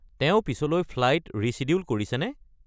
তেওঁ পিছলৈ flight reschedule কৰিছেনে?